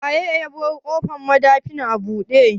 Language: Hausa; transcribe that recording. Wa yabar ƙofan madafin a bude?